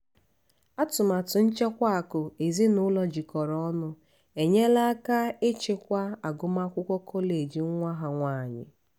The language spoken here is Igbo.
atụmatụ nchekwa akụ ezinụlọ jikọrọ ọnụ enyela aka ịchịkwa agụmakwụkwọ kọleji nwa ha nwanyị.